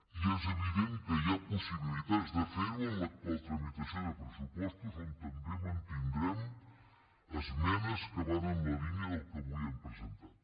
i és evident que hi ha possibilitats de ferho en l’actual tramitació de pressupostos on també mantindrem esmenes que van en la línia del que avui hem presentat